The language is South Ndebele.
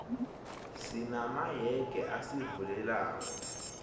sina mayege azivulekelako